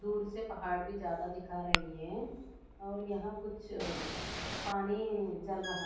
दूर से पहाड़ भी ज्यादा दिखा रही है और यहां कुछ पानी जल रहा--